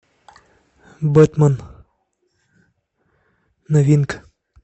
бэтмен новинка